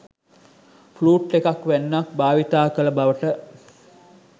flute එකක් වැන්නක් භාවිතා කළ බවට